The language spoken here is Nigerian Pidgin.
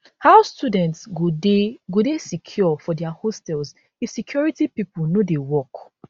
how students go dey go dey secure for dia hostels if security pipo no work